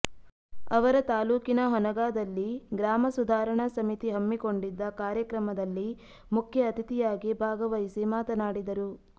ಅವರು ತಾಲೂಕಿನ ಹೊನಗಾದಲ್ಲಿ ಗ್ರಾಮ ಸುಧಾರಣಾ ಸಮಿತಿ ಹಮ್ಮಿಕೊಂಡಿದ್ದ ಕಾರ್ಯಕ್ರಮದಲ್ಲಿ ಮುಖ್ಯ ಅತಿಥಿಯಾಗಿ ಭಾಗವಹಿಸಿ ಮಾತನಾಡಿದರು